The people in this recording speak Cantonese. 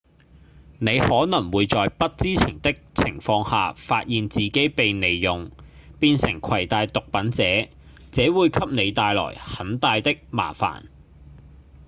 你可能會在不知情的情況下發現自己被利用變成攜帶毒品者這會給你帶來很大的麻煩